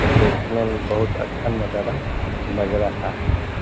और देखने में बोहोत अच्छा नजारा लग रहा है।